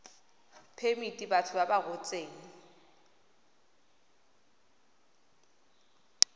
phemiti batho ba ba rotseng